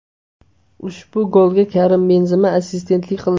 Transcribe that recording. Ushbu golga Karim Benzema assistentlik qildi.